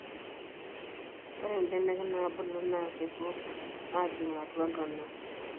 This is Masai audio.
ore ibenek naabulu naa kepuo aajing atua intona